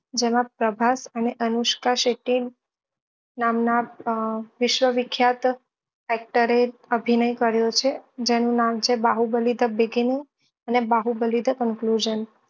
જેમાં પ્રભાસ અને અનુષ્કા શેટ્ટી નામ ના વિશ્વ વિખ્યાત actor એ અભિનય કર્યો છે જેનું નામ છે બાહુબલી the beginning અને બાહુબલી